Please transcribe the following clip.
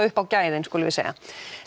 upp á gæðin skulum við segja